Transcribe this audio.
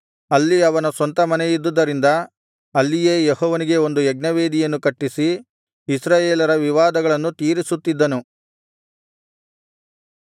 ಅಲ್ಲಿ ಅವನ ಸ್ವಂತ ಮನೆಯಿದ್ದುದರಿಂದ ಅಲ್ಲಿಯೇ ಯೆಹೋವನಿಗೆ ಒಂದು ಯಜ್ಞವೇದಿಯನ್ನು ಕಟ್ಟಿಸಿ ಇಸ್ರಾಯೇಲರ ವಿವಾದಗಳನ್ನು ತೀರಿಸುತ್ತಿದ್ದನು